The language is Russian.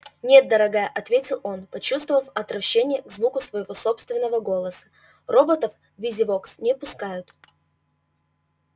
нет дорогая ответил он почувствовав отвращение к звуку своего собственного голоса роботов в визивокс не пускают